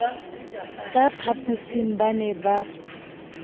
ka phaphosing ba ne ba